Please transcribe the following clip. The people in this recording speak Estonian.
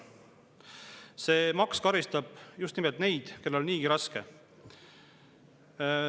See maks karistab just nimelt neid, kellel on niigi raske.